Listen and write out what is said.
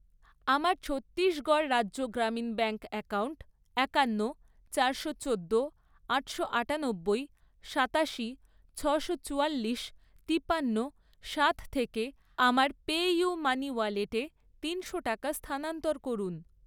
আমার ছত্তিশগড় রাজ্য গ্রামীণ ব্যাঙ্ক অ্যাকাউন্ট একান্ন, চারশো চোদ্দো, আটশো আটানব্বই, সাতাশি, ছশো চুয়াল্লিশ, তিপান্ন, সাত থেকে আমার পেইউমানি ওয়ালেটে তিনশো টাকা স্থানান্তর করুন।